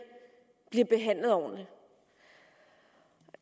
bliver behandlet ordentligt